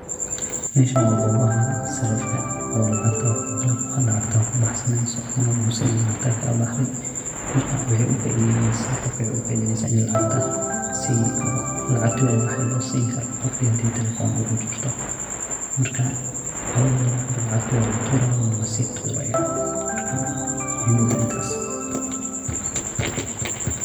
Meshan wa gobaha sarifka oo lacagta kubahsaneyso, ona lagusinayo lacagta kalabahdey, marka ogafaideyneysa gofka ini lacagta labahay losini karoo, gofki hadhii talephonka ogajirto, marka lawada dinac walatura wana lasina.